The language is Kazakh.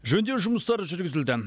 жөндеу жұмыстары жүргізілді